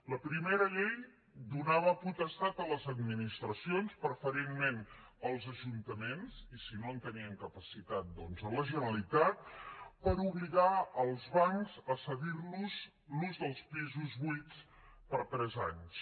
la primera llei donava potestat a les administracions preferentment als ajuntaments i si no en tenien capacitat doncs a la generalitat per obligar els bancs a cedir los l’ús dels pisos buits per tres anys